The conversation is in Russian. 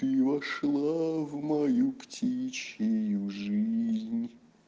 ты вошлааа в мою птичью жизнь